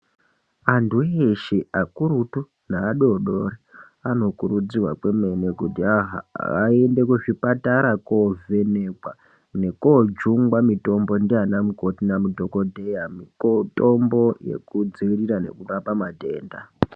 Antu eshe akurutu neadoodori anokuridzirwa kwemene kuti aende kuzvipatara kovhenekwa nokoojungwa mitombo ndianamukoti nadhokodheya, mitombo yekudziirira nekurapa matenda.